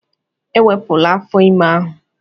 Ewepụla afọ ime ahụ!